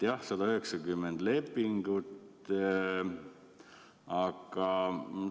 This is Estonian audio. Jah, 190 lepingut.